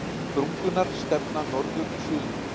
Sprungurnar stefna norður-suður.